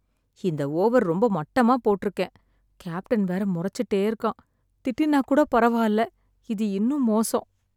இந்த ஓவர் ரொம்ப மட்டமாப் போட்டிருக்கேன். கேப்டன் வேற முறைச்சிட்டே இருக்கான். திட்டினாக் கூட பரவால்ல. இது இன்னும் மோசம்!